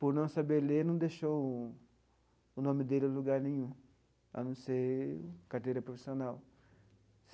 Por não saber ler, não deixou o o nome dele em lugar nenhum, a não ser carteira profissional.